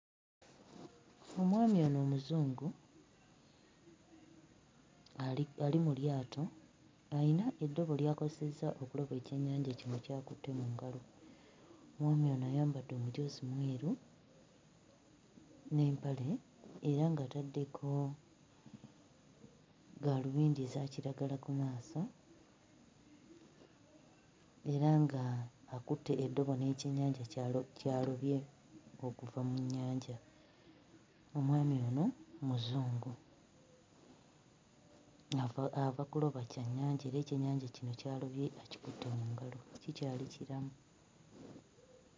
Omwami ono Omuzungu ali mu lyato ayina eddobo ly'akozesezza okuloba ekyennyanja kino ky'akutte mu ngalo. Omwami ono ayambadde omujoozi mweru n'empale era ng'ataddeko gaalubindi eza kiragala ku maaso, era ng'akutte eddobo n'ekyennyanja ky'alobye okuva mu nnyanja. Omwami ono Muzungu, ava ava kuloba kyannyanja era ekyennyanja kino ky'alobye akikutte mu ngalo; kikyali kiramu.